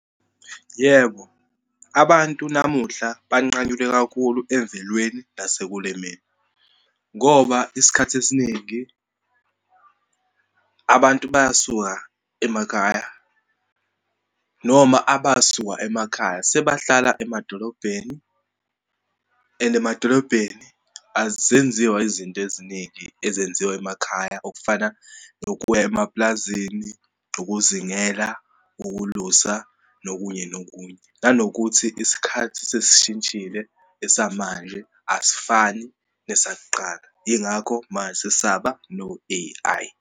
Yebo, abantu namuhla banqanyulwe kakhulu emvelweni nasekulimeni. Ngoba isikhathi esiningi abantu bayasuka emakhaya, noma abasuka emakhaya, sebahlala emadolobheni and emadolobheni azenziwa izinto eziningi ezenziwa emakhaya, okufana nokuya emapulazini, ukuzingela, ukulusa, nokunye nokunye. Nanokuthi isikhathi sesishintshile esamanje, asifani nesakuqala. Yingakho manje sesaba no-A_I.